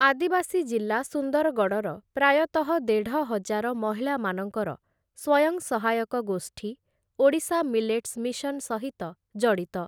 ଆଦିବାସୀ ଜିଲ୍ଲା ସୁନ୍ଦରଗଡ଼ର ପ୍ରାୟତଃ ଦେଢ଼ହଜାର ମହିଳାମାନଙ୍କର ସ୍ୱୟଂ ସହାୟକ ଗୋଷ୍ଠୀ, ଓଡ଼ିଶା ମିଲେଟ୍ସ ମିଶନ୍ ସହିତ ଜଡ଼ିତ ।